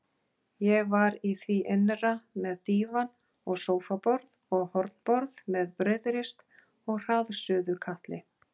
Ég var í því innra með dívan og sófaborð og hornborð með brauðrist og hraðsuðukatli.